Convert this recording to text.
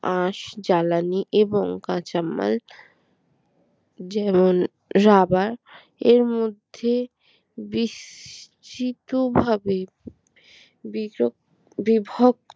আঁশ জ্বালানি এবং কাঁচামাল যেমন রাবার এর মধ্যে বিস্মিতভাবে বিচ বিভক